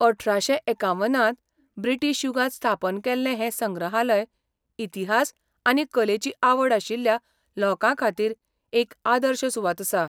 अठराशे एकावन्नांत ब्रिटीश युगांत स्थापन केल्लें हे संग्रहालय इतिहास आनी कलेची आवड आशिल्ल्या लोकांखातीर एक आदर्श सुवात आसा.